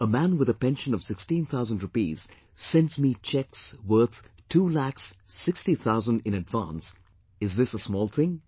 A man with a pension of sixteen thousand rupees sends me cheques worth two lakhs, sixty thousand in advance, is this a small thing